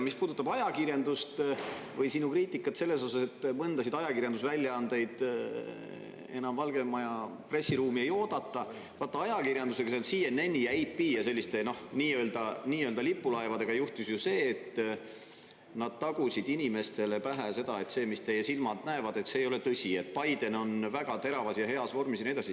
Mis puudutab ajakirjandust või sinu kriitikat selle kohta, et mõnda ajakirjandusväljaannet enam Valge Maja pressiruumi ei oodata – vaat ajakirjandusega, CNN-i ja AP ja selliste nii-öelda lipulaevadega juhtus ju see, et nad tagusid inimestele pähe seda, et see, mis teie silmad näevad, ei ole tõsi, Biden on väga teravas ja heas vormis ja nii edasi.